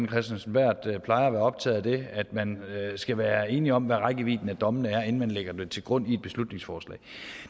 kristensen berth plejer at være optaget af at man skal være enig om hvad rækkevidden af dommene er inden man lægger dem til grund i et beslutningsforslag